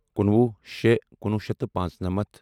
کُنوُہ شےٚ کُنوُہ شیٚتھ تہٕ پانٛژنَمَتھ